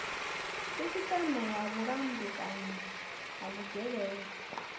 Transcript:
sisiteme ya vhulamukanyi ha vhugevhenga